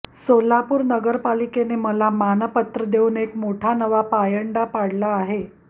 सोलापूर नगरपालिकेने मला मानपत्र देऊन एक मोठा नवा पायंडा पाडला आहे